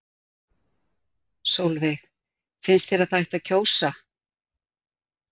Sólveig: Finnst þér að það ætti að kjósa?